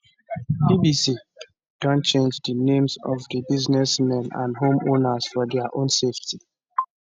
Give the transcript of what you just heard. bbc don change di names of di businessmen and homeowners for dia own safety